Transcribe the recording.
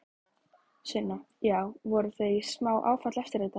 Sunna: Já, voru þau í smá áfalli eftir þetta?